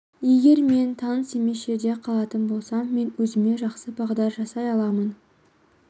егер мен таныс емес жерде қалатын болсам мен өзіме жақсы бағдар жасай аламын